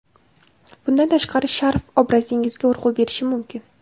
Bundan tashqari sharf obrazingizga urg‘u berishi mumkin.